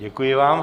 Děkuji vám.